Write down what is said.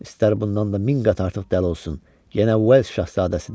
İstər bundan da min qat artıq dəli olsun, yenə Vels şahzadəsidir.